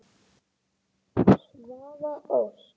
Svava Ósk.